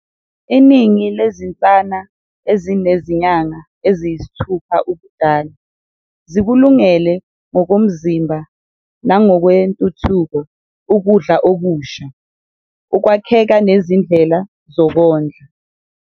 Iningi lezinsana ezinezinyanga eziyisithupha ubudala zikulungele ngokomzimba nangokwentuthuko ukudla okusha, ukwakheka nezindlela zokondla.